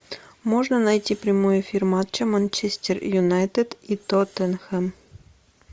можно найти прямой эфир матча манчестер юнайтед и тоттенхэм